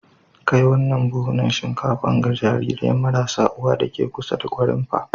Kai wannan buhunan shinkafa ga jarirai marasa uwa deke kusa da Gwarimpa.